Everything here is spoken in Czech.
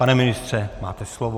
Pane ministře, máte slovo.